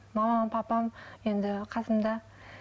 мамам папам енді қасымда